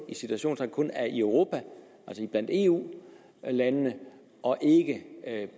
i citationstegn kun er i europa altså blandt eu landene og ikke